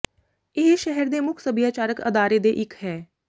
ਇਹ ਸ਼ਹਿਰ ਦੇ ਮੁੱਖ ਸੱਭਿਆਚਾਰਕ ਅਦਾਰੇ ਦੇ ਇੱਕ ਹੈ